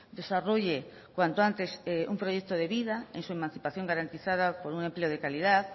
desarrolle cuanto antes un proyecto de vida en su emancipación garantizada por un empleo de calidad